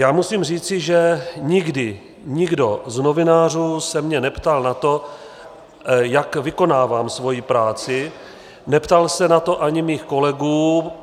Já musím říci, že nikdy nikdo z novinářů se mě neptal na to, jak vykonávám svoji práci, neptal se na to ani mých kolegů.